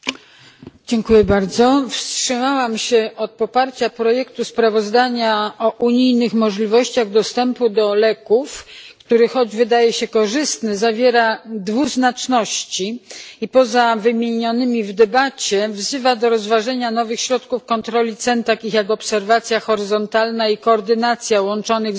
Panie Przewodniczący! Wstrzymałam się od poparcia projektu sprawozdania o unijnych możliwościach dostępu do leków, który choć wydaje się korzystny, zawiera dwuznaczności i poza wymienionymi w debacie wzywa do rozważenia nowych środków kontroli cen, takich jak obserwacja horyzontalna i koordynacja łączonych zamówień,